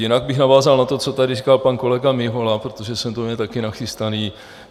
Jinak bych navázal na to, co tady říkal pan kolega Mihola, protože jsem to měl taky nachystané.